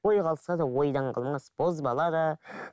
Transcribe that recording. ойға алса да ойдан қалмас бозбала да